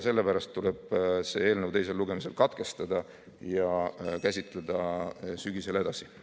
Sellepärast tuleb selle eelnõu teine lugemine katkestada ja käsitleda seda sügisel edasi.